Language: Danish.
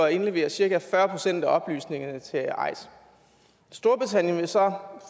at indlevere cirka fyrre procent af oplysningerne til eis storbritannien vil så